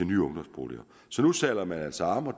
nye ungdomsboliger nu sadler man altså om og